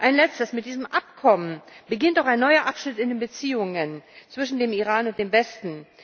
Ein Letztes Mit diesem Abkommen beginnt auch ein neuer Abschnitt in den Beziehungen zwischen dem Iran und dem Westen.